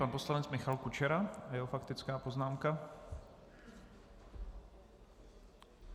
Pan poslanec Michal Kučera a jeho faktická poznámka.